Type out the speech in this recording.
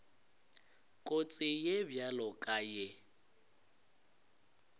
kotsi ye bjalo ka ye